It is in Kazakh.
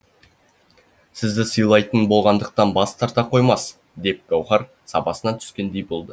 сізді сыйлайтын болғандықтан бас тарта қоймас деп гауһар сабасына түскендей болды